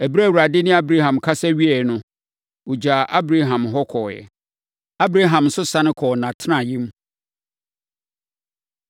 Ɛberɛ a Awurade ne Abraham kasa wieeɛ no, ɔgyaa Abraham hɔ kɔeɛ. Abraham nso sane kɔɔ nʼatenaeɛm.